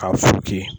K'a furu ki